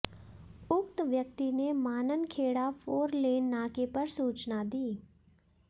उक्त व्यक्ति ने माननखेड़ा फोरलेन नाके पर सूचना दी